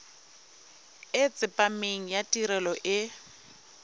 e tsepameng ya tirelo e